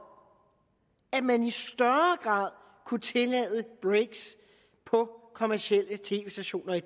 at man i større grad kunne tillade breaks på kommercielle tv stationer i